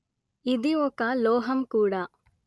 ఇది ఒక లోహం కూడా